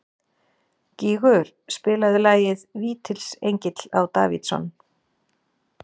Gígur, spilaðu lagið „Vítisengill á Davidson“.